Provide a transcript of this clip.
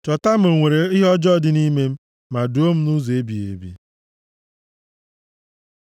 Chọpụta ma o nwere ihe ọjọọ dị nʼime m, ma duo m nʼụzọ ebighị ebi.